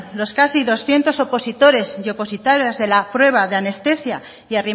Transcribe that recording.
los casi doscientos opositores y opositoras de las prueba de anestesia y